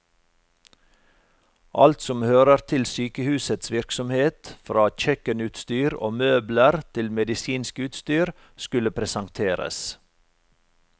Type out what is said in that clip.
Alt som hører til sykehusets virksomhet, fra kjøkkenutstyr og møbler til medisinsk utstyr, skulle presenteres.